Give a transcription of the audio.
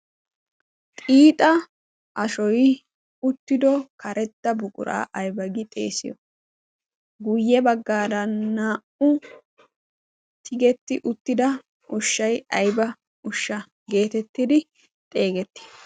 xiixa ashoy uttido karetda buquraa aybagi xeesiyo guyye baggaara naa'u tigetti uttida oshshay ayba ushsha' geetettidi xeegetti?